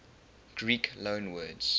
greek loanwords